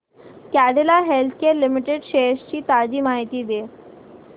Cadila healthcare limited shares ची ताजी माहिती दे